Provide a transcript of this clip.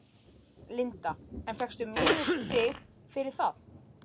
Linda: En fékkstu mínusstig fyrir það?